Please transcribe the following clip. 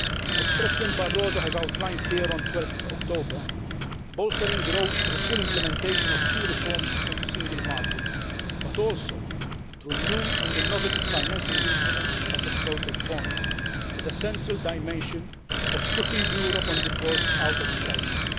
As President Barroso outlined here on 12 October, bolstering growth, through full implementation of key reforms on the single market but also through new and innovative financing instruments such as project bonds, is a central dimension of putting Europe on the course out of the crisis.